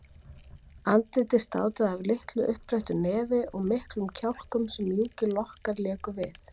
Andlitið státaði af litlu uppbrettu nefi og miklum kjálkum sem mjúkir lokkar léku við.